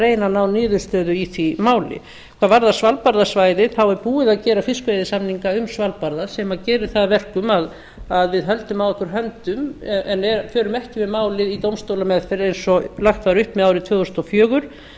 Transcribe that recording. að ná niðurstöðu í því máli hvað varðar svalbarðasvæðið þá er búið að gera fiskveiðisamninga um svalbarða sem gera það að verkum að við höldum að okkur höndum en förum ekki með málið í dómstólameðferð eins og lagt var upp með árið tvö þúsund og fjögur